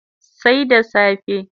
Sai da safe